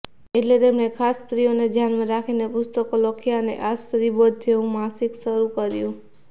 એટલે તેમણે ખાસ સ્ત્રીઓને ધ્યાનમાં રાખીને પુસ્તકો લખ્યાં અને આ સ્ત્રીબોધ જેવું માસિક શરૂ કર્યું